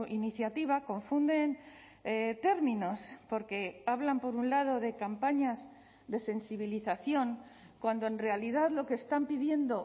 iniciativa confunden términos porque hablan por un lado de campañas de sensibilización cuando en realidad lo que están pidiendo